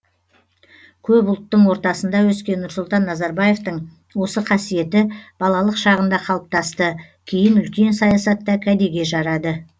көп ұлттың ортасында өскен нұрсұлтан назарбаевтың осы қасиеті балалық шағында қалыптасты кейін үлкен саясатта кәдеге жарады